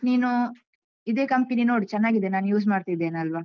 ನೀನು ಇದೆ company ನೋಡು ಚೆನ್ನಾಗಿದೆ ನಾನ್ use ಮಾಡ್ತಿದ್ದೇನಲ್ವಾ?